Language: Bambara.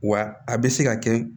Wa a bɛ se ka kɛ